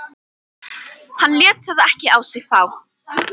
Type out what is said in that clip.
Hann lét það ekki á sig fá.